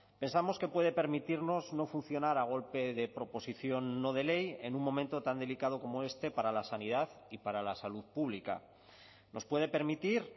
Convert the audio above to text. pensamos que puede permitirnos no funcionar a golpe de proposición no de ley en un momento tan delicado como este para la sanidad y para la salud pública nos puede permitir